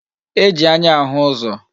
E ji anya ahụ uzo